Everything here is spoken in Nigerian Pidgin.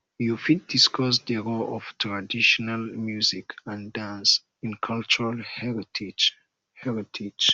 you fit discuss di role of traditional music and dance in cultural heritage heritage